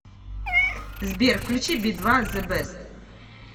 сбер включи би два зэ бест